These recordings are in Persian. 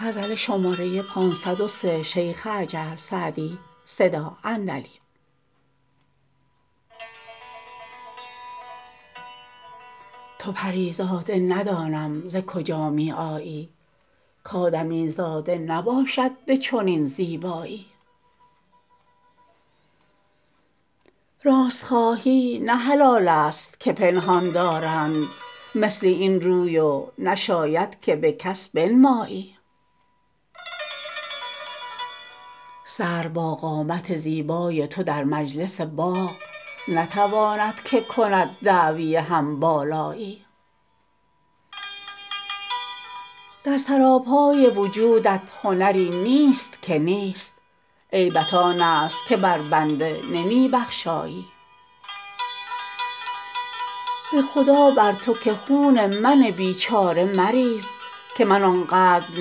تو پری زاده ندانم ز کجا می آیی کآدمیزاده نباشد به چنین زیبایی راست خواهی نه حلال است که پنهان دارند مثل این روی و نشاید که به کس بنمایی سرو با قامت زیبای تو در مجلس باغ نتواند که کند دعوی هم بالایی در سراپای وجودت هنری نیست که نیست عیبت آن است که بر بنده نمی بخشایی به خدا بر تو که خون من بیچاره مریز که من آن قدر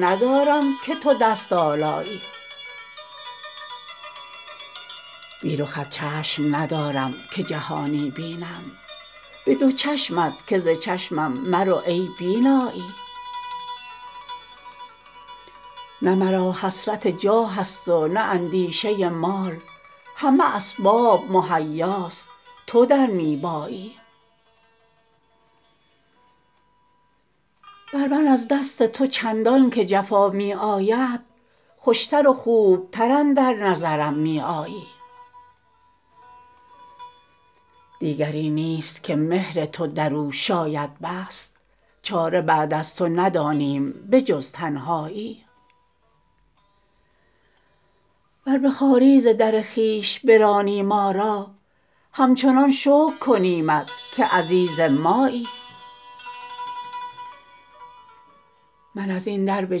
ندارم که تو دست آلایی بی رخت چشم ندارم که جهانی بینم به دو چشمت که ز چشمم مرو ای بینایی نه مرا حسرت جاه است و نه اندیشه مال همه اسباب مهیاست تو در می بایی بر من از دست تو چندان که جفا می آید خوش تر و خوب تر اندر نظرم می آیی دیگری نیست که مهر تو در او شاید بست چاره بعد از تو ندانیم به جز تنهایی ور به خواری ز در خویش برانی ما را همچنان شکر کنیمت که عزیز مایی من از این در به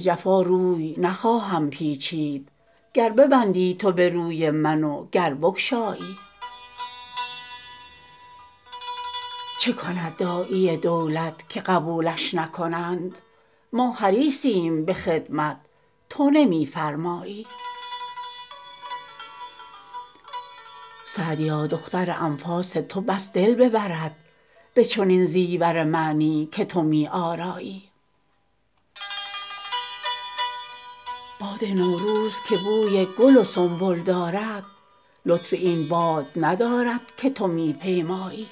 جفا روی نخواهم پیچید گر ببندی تو به روی من و گر بگشایی چه کند داعی دولت که قبولش نکنند ما حریصیم به خدمت تو نمی فرمایی سعدیا دختر انفاس تو بس دل ببرد به چنین زیور معنی که تو می آرایی باد نوروز که بوی گل و سنبل دارد لطف این باد ندارد که تو می پیمایی